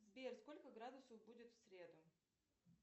сбер сколько градусов будет в среду